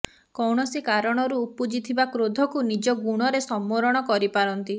କୌଣସି କାରଣରୁ ଉପୁଜି ଥିବା କ୍ରୋଧକୁ ନିଜ ଗୁଣରେ ସମ୍ବରଣ କରିପାରନ୍ତି